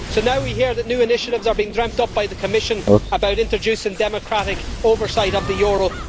So now we hear that new initiatives are being dreamt up by the Commission about introducing democratic oversight of the euro.